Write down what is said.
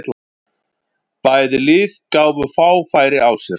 Bæði lið gáfu fá færi á sér.